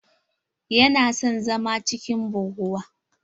Yana son zama cikin buguwa.